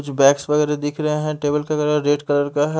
कुछ बैग्स वगेरह दिख रहे हैं टेबल पे रेड कलर का है।